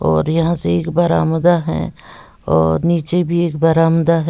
और यहां से एक बरामदा है और नीचे भी एक बरामदा है।